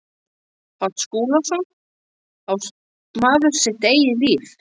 Páll Skúlason, Á maður sitt eigið líf?